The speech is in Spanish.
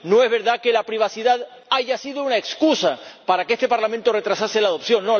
No es verdad que la privacidad haya sido una excusa para que este Parlamento retrasase la aprobación.